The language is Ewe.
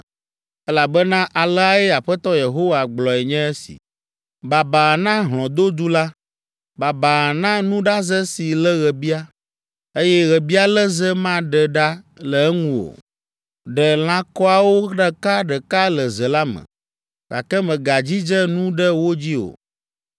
“Elabena aleae Aƒetɔ Yehowa gblɔe nye si. “Babaa na hlɔ̃dodu la, babaa na nuɖaze si lé ɣebia, eye ɣebialéle maɖe ɖa le eŋu o! Ɖe lãkɔawo ɖeka ɖeka le ze la me, gake mègadzidze nu ɖe wo dzi o.